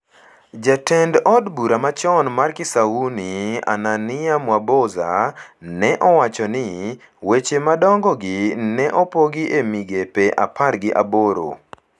Jatend od bura machon mar Kisauni, Ananiah Mwaboza, ne owacho ni: “Weche madongo gi ne opogi e migepe apar gi aboro.”